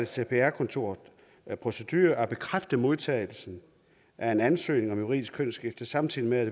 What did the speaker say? cpr kontorets procedure at bekræfte modtagelsen af en ansøgning om juridisk kønsskifte samtidig med at